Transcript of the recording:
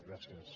gràcies